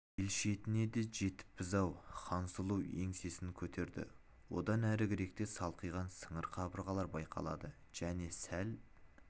ел шетіне де жетіппіз-ау хансұлу еңсесін көтерді одан әрігеректе де қалқиған сыңар қабырғалар байқалады және сәл